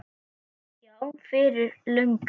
Já, fyrir löngu.